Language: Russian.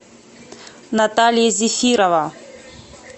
наталья зефирова